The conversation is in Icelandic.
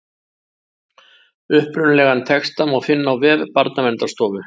Upprunalegan texta má finna á vef Barnaverndarstofu.